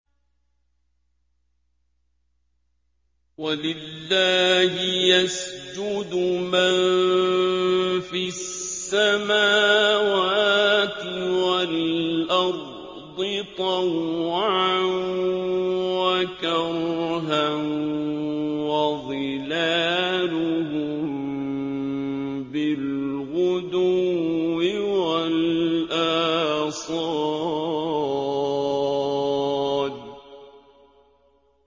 وَلِلَّهِ يَسْجُدُ مَن فِي السَّمَاوَاتِ وَالْأَرْضِ طَوْعًا وَكَرْهًا وَظِلَالُهُم بِالْغُدُوِّ وَالْآصَالِ ۩